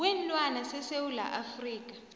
kweenlwana sesewula afrika